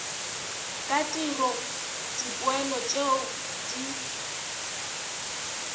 ka tiro dipoelo tšeo di